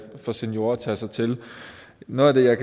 for seniorer at tage sig til noget af det jeg